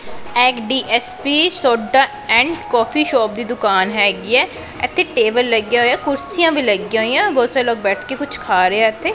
ਐਗਡੀਐਸਪੀ soda and coffee shop ਦੀ ਦੁਕਾਨ ਹੈਗੀ ਐ ਇਥੇ ਟੇਬਲ ਲੱਗਿਆ ਹੋਇਆ ਕੁਰਸੀਆਂ ਵੀ ਲੱਗੀਆਂ ਹੋਈਆਂ ਬਹੁਤ ਸਾਰੇ ਲੋਕ ਬੈਠ ਕੇ ਕੁਝ ਖਾ ਰਹੇ ਆ ਇਥੇ।